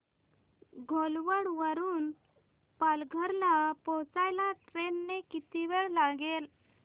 घोलवड वरून पालघर ला पोहचायला ट्रेन ने किती वेळ लागेल